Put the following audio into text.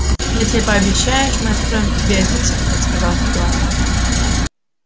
если пообещаешь мы откроем тебе один секрет сказал стюарт